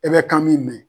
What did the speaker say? E bɛ kan min